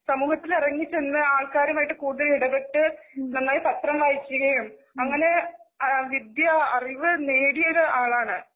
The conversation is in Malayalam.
സമൂഹത്തില് ഇറങ്ങിച്ചെന്നു ആൾക്കരുമായിട്ട്കൂടുതൽ ഇടപെട്ടു നന്നായി പത്രം വായിക്കുകയും അങ്ങനെ വിദ്ത്യാഅറിവ് നേടിയൊരാളാണ്.